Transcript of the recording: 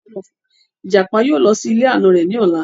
Ìjàpá yóò lọ sí ilé àna rẹ̀ ní ola